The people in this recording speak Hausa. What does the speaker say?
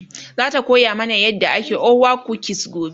zata koya mana yadda ake orwa kukis gobe